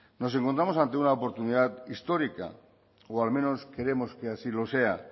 nos encontramos ante una oportunidad histórica o al menos queremos que así lo sea